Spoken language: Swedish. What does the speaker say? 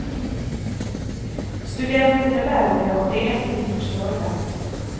Studenten är bärare av det ännu oförstörda.